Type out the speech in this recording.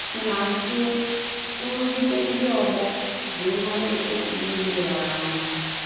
N’zie, nrụgide ndị ọgbọ bụ ihe a na-ekwesịghị ileghara anya.